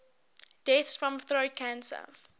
deaths from throat cancer